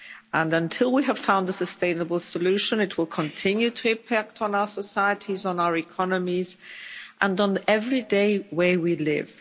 And until we have found a sustainable solution it will continue to impact on our societies, on our economies and on the everyday way we live.